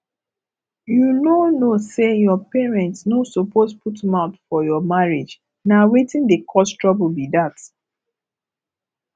you no know say your parents no suppose put mouth for your marriage na wetin dey cause trouble be dat